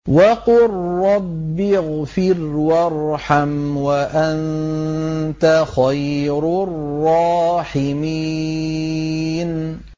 وَقُل رَّبِّ اغْفِرْ وَارْحَمْ وَأَنتَ خَيْرُ الرَّاحِمِينَ